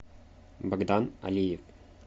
богдан алиев